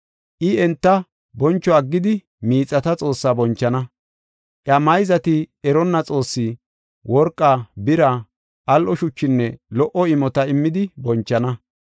I enta boncho aggidi miixata xoossaa bonchana; iya mayzati eronna xoosse, worqa, bira, al7o shuchinne lo77o imota immidi bonchana.